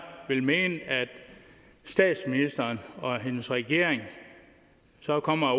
vil mene statsministeren og hendes regering så kommer